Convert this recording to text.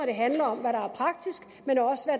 det handler om hvad